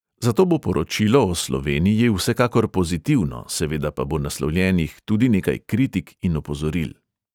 Zato bo poročilo o sloveniji vsekakor pozitivno, seveda pa bo naslovljenih tudi nekaj kritik in opozoril.